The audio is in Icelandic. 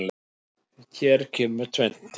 Hér kemur tvennt til.